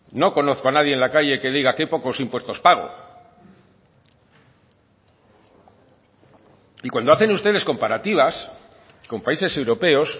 no conozco a nadie en la calle qué diga que pocos impuestos pago y cuando hacen ustedes comparativas con países europeos